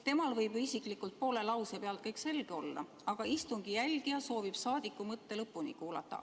Temal võib ju isiklikult poole lause pealt kõik selge olla, aga istungi jälgija soovib saadiku mõtte lõpuni kuulata.